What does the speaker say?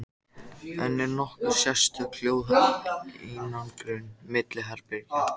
Kristján Már: Þannig að Djúpivogur, hann er ekkert deyjandi samfélag?